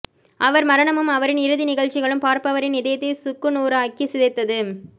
அவர் மரணமும் அவரின் இறுதி நிகழ்ச்சிகளும் பார்ப்பவரின் இதயத்தை சுக்குநூறாக்கிச் சிதைத்தது